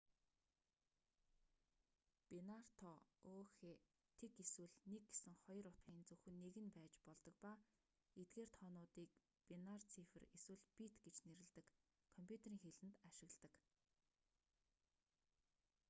бинар тоо ө.х. 0 эсвэл 1 гэсэн хоёр утгын зөвхөн нэг нь байж болдог ба эдгээр тоонуудыг бинар цифр эсвэл бит гэж нэрлэдэг компьютерийн хэлэнд ашигладаг